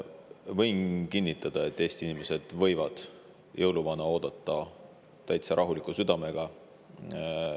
Võin kinnitada, et Eesti inimesed võivad jõuluvana oodata täitsa rahuliku südamega.